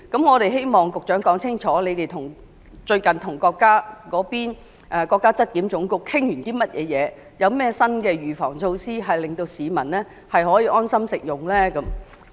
我們希望局長能說清楚，政府最近與國家質量監督檢驗檢疫總局討論了些甚麼，以及有甚麼新的預防措施，可以令市民安心食用大閘蟹？